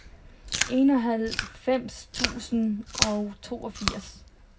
enoghalvfems tusind og toogfirs